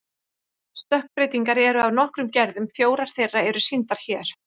Stökkbreytingar eru af nokkrum gerðum, fjórar þeirra eru sýndar hér.